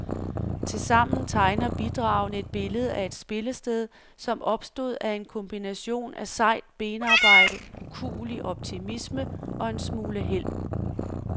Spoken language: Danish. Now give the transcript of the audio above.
Tilsammen tegner bidragene et billede af et spillested, som opstod af en kombination af sejt benarbejde, ukuelig optimisme og en smule held.